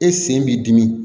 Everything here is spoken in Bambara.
E sen b'i dimi